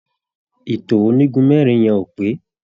Ìtò onígun mẹ́rin yẹn ò pé.